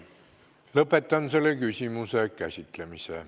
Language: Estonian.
Lõpetan selle küsimuse käsitlemise.